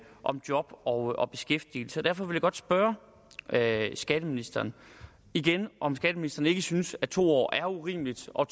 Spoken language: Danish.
om job og og beskæftigelse derfor vil jeg godt spørge skatteministeren igen om skatteministeren ikke synes at to år er urimeligt og